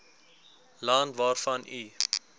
land waarvan u